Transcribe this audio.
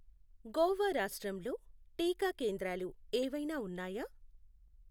గోవా రాష్ట్రంలో టీకా కేంద్రాలు ఏవైనా ఉన్నాయా?